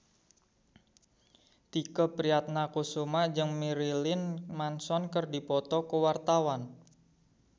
Tike Priatnakusuma jeung Marilyn Manson keur dipoto ku wartawan